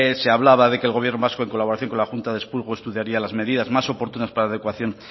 se hablaba de que el gobierno vasco en colaboración con la junta de expurgo estudiaría las medidas más oportunas para la adecuación